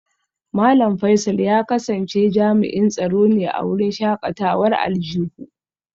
Malam Faisal ya kasance jami'in tsaro ne a wurin shakatawar aljihu